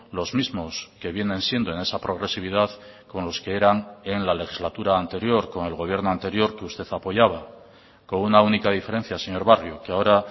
los mismos que vienen siendo en esa progresividad con los que eran en la legislatura anterior con el gobierno anterior que usted apoyaba con una única diferencia señor barrio que ahora